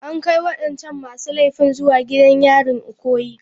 An kai wadancan masu laifin zuwa gidan yarin Ikoyi.